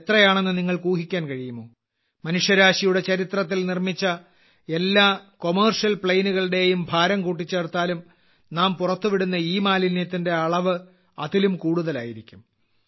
അത് എത്രയാണെന്ന് നിങ്ങൾക്ക് ഊഹിക്കാൻ കഴിയുമോ മനുഷ്യരാശിയുടെ ചരിത്രത്തിൽ നിർമ്മിച്ച എല്ലാ കമർഷ്യൽ പ്ലേൻ കളുടെയും ഭാരം കൂട്ടിച്ചേർത്താലും നാം പുറത്തു വിടുന്ന ഇമാലിന്യത്തിന്റെ അളവ് അതിലും കൂടുതലായിരിക്കും